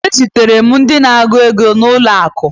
Ezutere m ndị na-agụ ego n'ụlọakụ